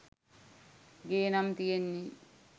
ගේ නම් තියෙන්නේ